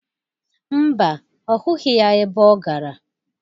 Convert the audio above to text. Mba, ọ hụghị ya ebe ọ gara.